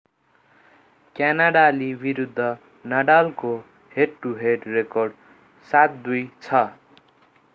क्यानाडाली विरुद्ध नाडालको head to head record 7-2 छ